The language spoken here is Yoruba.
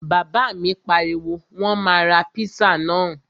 Bàbá mi pariwo, Wọ́n máa ra píṣà náà!